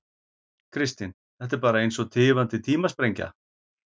Kristinn: Þetta er bara eins og tifandi tímasprengja?